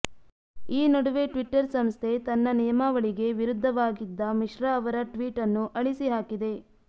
ಈ ನಡುವೆ ಟ್ವಿಟ್ಟರ್ ಸಂಸ್ಥೆ ತನ್ನ ನಿಯಮಾವಳಿಗೆ ವಿರುದ್ಧವಾಗಿದ್ದ ಮಿಶ್ರಾ ಅವರ ಟ್ವೀಟ್ ಅನ್ನು ಅಳಿಸಿಹಾಕಿದೆ